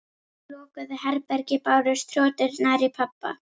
Úr lokuðu herbergi bárust hroturnar í pabba.